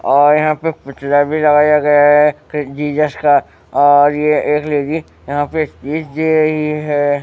और यहां पे पुतला भी लगाया गया है फिर जीसस का और ये एक लेडी यहां पे रही है।